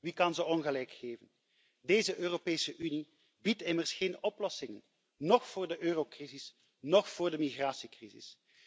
Wie kan ze ongelijk geven? Deze Europese Unie biedt immers geen oplossingen, noch voor de eurocrisis, noch voor de migratiecrisis.